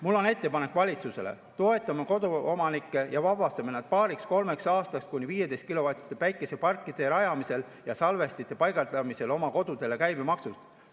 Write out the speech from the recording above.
Mul on ettepanek valitsusele: toetame koduomanikke ja vabastame nad paariks-kolmeks aastaks oma kodudes kuni 15-kilovatiste päikeseparkide rajamisel ja salvestite paigaldamisel käibemaksust.